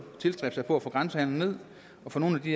tilstræbe at få bragt grænsehandelen ned og få nogle af de